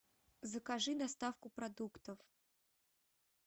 закажи доставку продуктов